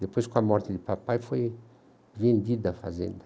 Depois, com a morte de papai, foi vendida a fazenda.